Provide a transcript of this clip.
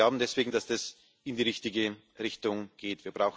Wir glauben deswegen, dass das in die richtige Richtung geht.